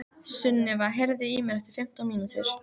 Sunniva, heyrðu í mér eftir fimmtán mínútur.